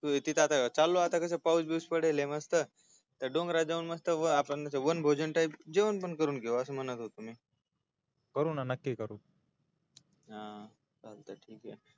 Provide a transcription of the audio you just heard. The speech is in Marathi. हो तिथ आता चांगला आता पाऊस बिऊस पडलेलाय मस्त त्या डोंगरा जाऊन वन भोजन टाईप जेवण पण करून घेऊ अस म्हणत होतो मी करू ना नक्की करू हा अं चालतय ठिकय